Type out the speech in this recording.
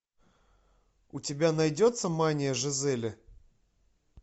у тебя найдется мания жизели